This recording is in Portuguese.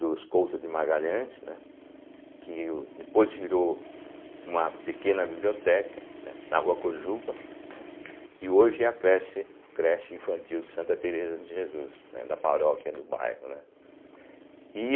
dos Coutos de Magalhães, né, que depois virou uma pequena biblioteca, né, na Rua Cojuba e hoje é a creche Creche Infantil Santa Teresa de Jesus, da paróquia do bairro, né. E